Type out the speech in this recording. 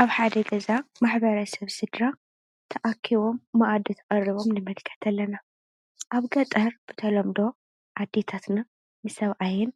ኣብ ሓደ ገዛ ማሕበረሰብ ስድራ ተኣኪቦም መኣዲ ቀሪቦም ንምልከት ኣለና። ኣብ ገጠር ብተለምዶ ኣዴታትና ንሰብኣየን